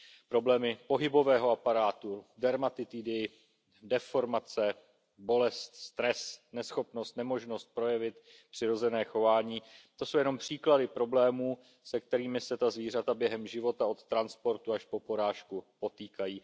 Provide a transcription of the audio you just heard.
Problémy pohybového aparátu, dermatitidy, deformace, bolest, stres, neschopnost, nemožnost projevit přirozené chování, to jsou jenom příklady problémů, se kterými se ta zvířata během života od transportu až po porážku potýkají.